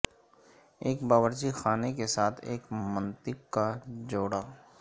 ایک باورچی خانے کے ساتھ ایک منطق کا جوڑا